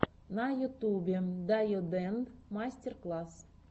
на ютюбе дайодэнд мастер класс